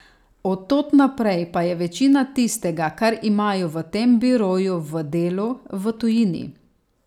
Od tod naprej pa je večina tistega, kar imajo v tem biroju v delu, v tujini.